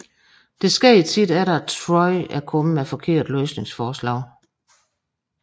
Det sker tit efter at Troy er kommet med forkerte løsningsforslag